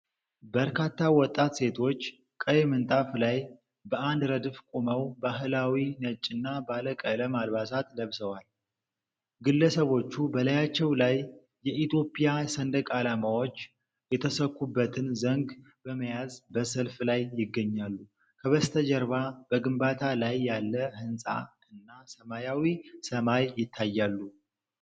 በርካታ ወጣት ሴቶች ቀይ ምንጣፍ ላይ በአንድ ረድፍ ቆመው፣ ባህላዊ ነጭና ባለቀለም አልባሳትን ለብሰዋል። ግለሰቦቹ በላያቸው ላይ የኢትዮጵያ ሰንደቅ ዓላማዎች የተሰኩበትን ዘንግ በመያዝ በሰልፍ ላይ ይገኛሉ። ከበስተጀርባ በግንባታ ላይ ያለ ህንጻ እና ሰማያዊ ሰማይ ይታያሉ።